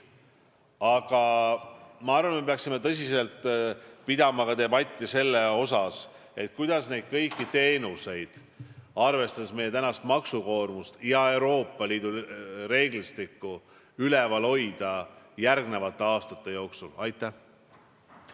Aga ma arvan, et me peaksime tõsiselt pidama ka debatti selle üle, kuidas neid kõiki teenuseid – arvestades meie maksukoormust ja Euroopa Liidu reeglistikku – järgnevate aastate jooksul käigus hoida.